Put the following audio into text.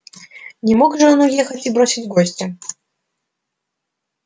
не мог же он уехать и бросить гостя